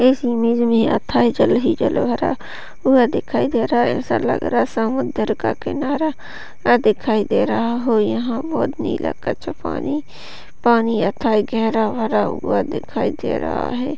Image मे हथाई जल ही जलहरा व दिखाई दे रहा है ऐसा लग रहा है समुद्र का किनारा आ दिखाई दे रहा है यहाँ बहुत नीला कच्चा पानी पानी यथाई गेरा बरा हुआ दिखाई दे रहा है।